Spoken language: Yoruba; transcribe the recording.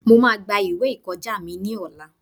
Mo máa gba ìwé ìkọjá mi ní ọ̀la.